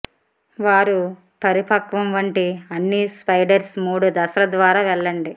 వారు పరిపక్వం వంటి అన్ని స్పైడర్స్ మూడు దశల ద్వారా వెళ్ళండి